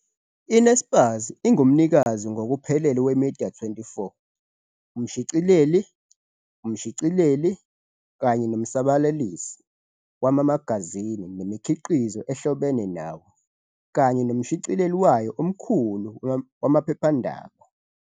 I-Naspers ingumnikazi ngokuphelele we-Media24, umshicileli, umshicileli, kanye nomsabalalisi wamamagazini nemikhiqizo ehlobene nawo, kanye nomshicileli wayo omkhulu wamaphephandaba.